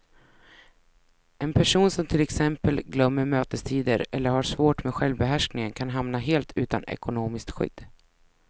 En person som till exempel glömmer mötestider eller har svårt med självbehärskningen kan hamna helt utan ekonomiskt skydd.